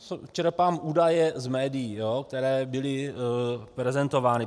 Čerpám údaje z médií, které byly prezentovány.